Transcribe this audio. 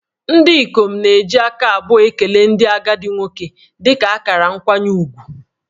Ndị ikom na-eji aka abụọ ekele ndị agadi nwoke dị ka akara nkwanye ùgwù